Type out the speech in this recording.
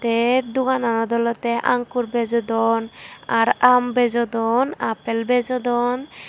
te dogananot olodey ankur bejodon ar aam bejodon appel bejodon.